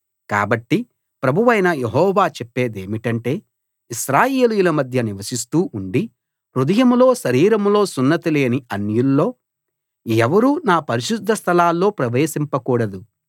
కాబట్టి ప్రభువైన యెహోవా చెప్పేదేమిటంటే ఇశ్రాయేలీయుల మధ్య నివసిస్తూ ఉండి హృదయంలో శరీరంలో సున్నతి లేని అన్యుల్లో ఎవరూ నా పరిశుద్ధస్థలాల్లో ప్రవేశింపకూడదు